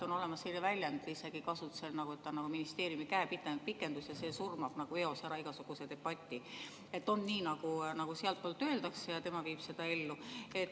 On isegi selline väljend kasutusel, et ta on ministeeriumi käepikendus ja see surmab eos ära igasuguse debati, on nii, nagu sealtpoolt öeldakse, ja tema viib seda ellu.